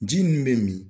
Ji min bɛ min